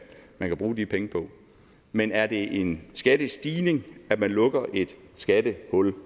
bruge de penge på men er det en skattestigning at man lukker et skattehul